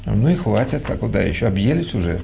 ну и хватит а куда ещё объелись уже